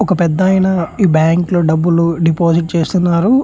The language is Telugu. ఒక పెద్దాయన ఈ బ్యాంకు లో డబ్బులు డిపోసిట్ చేస్తున్నారు.